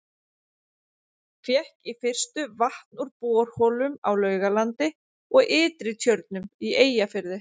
Fékk í fyrstu vatn úr borholum á Laugalandi og Ytri-Tjörnum í Eyjafirði.